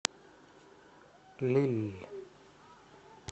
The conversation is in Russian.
лилль